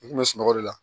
I kun bɛ sunɔgɔ de la